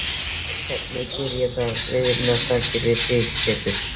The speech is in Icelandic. Og geri ég það fyrir vináttusakir við þig, Pétur.